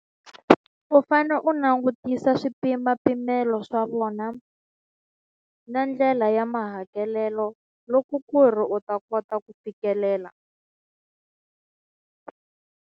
U fane u langutisa swipimapimelo swa vona na ndlela ya mahakelelo loko ku ri u ta kota ku fikelela.